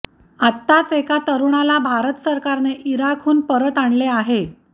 आताच एका तरुणाला भारत सरकारने ईराकहुन परत आणले आहे